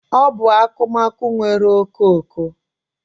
Ọ bụ akụmakụ nwere okooko?